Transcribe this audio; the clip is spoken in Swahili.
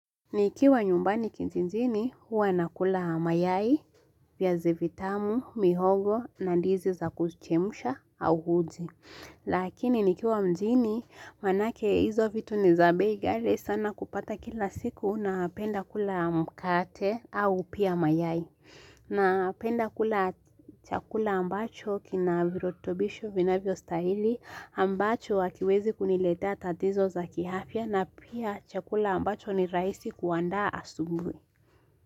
Nikiwa nyumbani kijijiini, huwa nakula mayai, viazi vitamu, mihogo, na ndizi za kuchemsha au uji. Lakini nikiwa mjini, manake hizo vitu ni za bei ghali sana kupata kila siku napenda kula mkate au pia mayai. Napenda kula chakula ambacho kina virutubisho vinavyostahili ambacho hakiwezi kuniletea tatizo za kiafya na pia chakula ambacho ni rahisi kuandaa asubuhi.